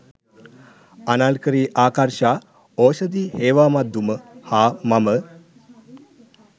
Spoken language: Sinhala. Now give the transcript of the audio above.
අනර්කලී ආකර්ශා ඕෂධි හේවාමද්දුම හා මම